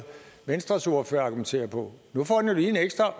venstres ordfører argumenterer på nu får den jo lige en ekstra